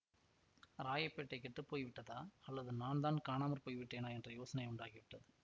ராயப்பேட்டை கெட்டு போய் விட்டதா அல்லது நான் தான் காணாமற் போய்விட்டேனா என்ற யோசனை உண்டாகிவிட்டது